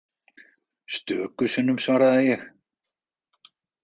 Stöku sinnum svaraði ég.